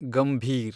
Gambhir